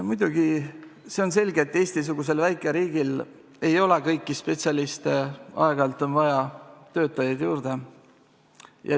Muidugi on selge, et Eesti-sugusel väikeriigil ei ole kõiki spetsialiste, aeg-ajalt on vaja töötajaid juurde.